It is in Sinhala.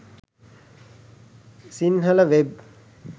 sinhala web